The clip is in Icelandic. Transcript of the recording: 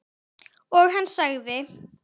Og hann sagði